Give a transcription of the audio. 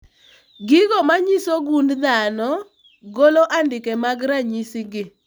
Gigo manyiso gund dhano golo andike mag ranyisi gi